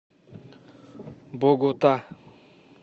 богота